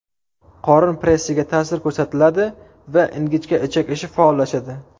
Qorin pressiga ta’sir ko‘rsatiladi va ingichka ichak ishi faollashadi.